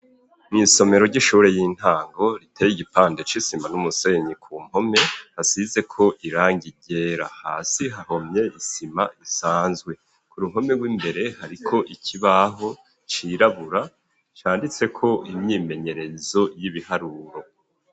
Mw'isomero, ry'ishure y'intango, riteye igipande c'isima n'umusenyi, ku mpome, hasizeko irangi ryera; hasi hahomye isima isanzwe, ku ruhome rw'imbere, hariko ikibaho cirabura, canditseko imyimenyerezo, y'ibiharuro.